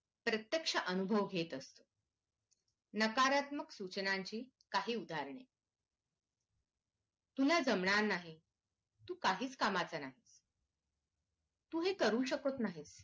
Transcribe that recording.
प्रत्येक्ष अनुभव घेत असतो नकारत्मक सूचनांची काही उदाहरणे तुला जमणार नाही तू काहीच कामाचा नाही तू हे करू शकत नाही